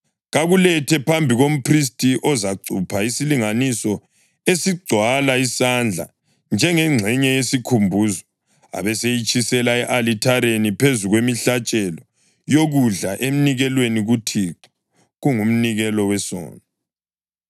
Kakulethe phambi komphristi ozacupha isilinganiso esigcwala isandla njengengxenye yesikhumbuzo, abeseyitshisela e-alithareni phezu kwemihlatshelo yokudla enikelwa kuThixo. Kungumnikelo wesono.